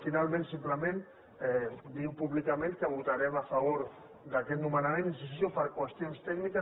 finalment simplement dir públicament que votarem a favor d’aquest nomenament hi insisteixo per qüestions tècniques